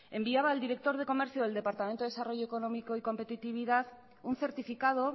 enviaba al director de comercio del departamento de desarrollo económico y competitividad un certificado